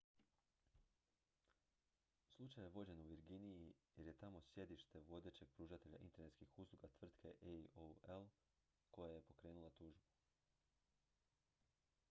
slučaj je vođen u virginiji jer je tamo sjedište vodećeg pružatelja internetskih usluga tvrtke aol koja je pokrenula tužbu